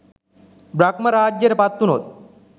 බ්‍රහ්ම රාජ්‍යයට පත්වුණොත්